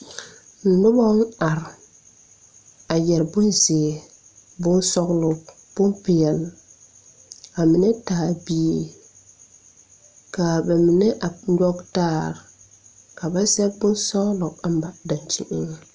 Nobɔŋ are a yɛre bonzeere bonsɔglɔ bonpeɛle ba mine taa bie kaa ba mine a nyoge taare ka ba sɛge bonsɔglɔ a mare daŋkyineŋ.